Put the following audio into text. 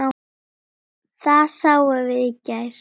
Það sáum við í gær.